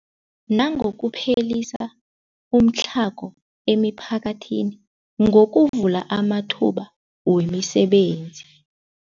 Nangokuphelisa umtlhago emiphakathini ngokuvula amathuba wemisebenzi.